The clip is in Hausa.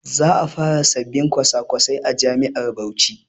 Za a fara sabbin kwasa-kwasai a jami'ar Bauchi.